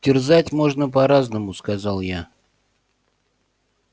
терзать можно по-разному сказал я